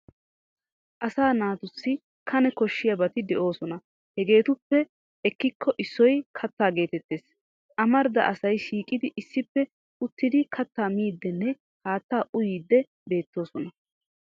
Asaa naatussi Kane koshshiyaabati doosona hegeetuppe ekkikko issoy kattaa geetettes. Amarida asay shiiqidi issippe uttidi kattaa miiddinne haattaa uyiiddi beettoosona.